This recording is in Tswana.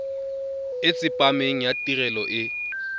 e tsepameng ya tirelo e